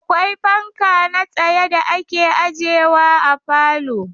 Akwai fanka na tsaye da ake ajewa a falo.